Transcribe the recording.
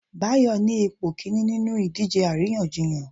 Bayo ni ipo kinní ninú idije aríyànjiyàn